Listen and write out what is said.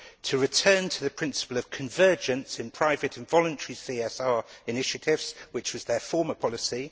to return to the principle of convergence in private and voluntary CSR initiatives, which was its former policy